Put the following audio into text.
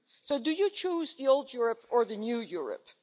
So do you choose the old Europe or the new Europe?